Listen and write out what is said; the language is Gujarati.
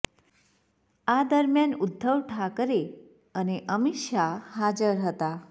આ દરમિયાન ઉદ્ધવ ઠાકરે અને અમિત શાહ હાજર હતા